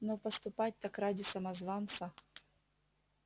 но поступать так ради самозванца